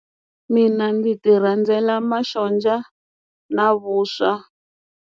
Mina ndzi ti rhandzela masonja na vuswa.